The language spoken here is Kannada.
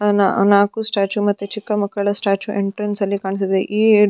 ಆ ನಾಕು ಸ್ಟ್ಯಾಚು ಮತ್ತು ಚಿಕ್ಕ ಮಕ್ಕಳ ಸ್ಟ್ಯಾಚು ಎಂಟ್ರೆನ್ಸಲ್ಲಿ ಕಾಣಿಸ್ತಿದೆ --